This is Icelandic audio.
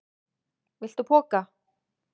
Viltu poka?